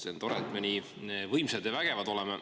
See on tore, et me nii võimsad ja vägevad oleme.